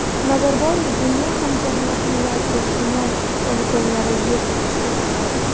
Nazarboyev dunyo hamjamiyatini yadro sinov poligonlarini yo‘q qilishga chaqirdi.